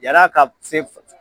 Ya na ka se